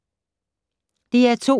DR2